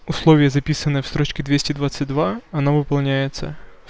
условия записанные в строчке двести двадцать два она выполняется